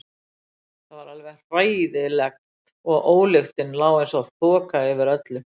Það var alveg hræðilegt og ólyktin lá einsog þoka yfir öllu.